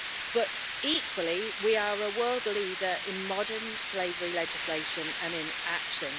But, equally, we are a world leader in modern slavery legislation and in action.